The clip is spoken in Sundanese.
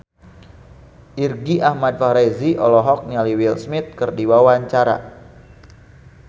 Irgi Ahmad Fahrezi olohok ningali Will Smith keur diwawancara